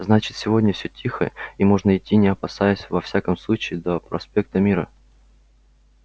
значит сегодня всё тихо и можно идти не опасаясь во всяком случае до проспекта мира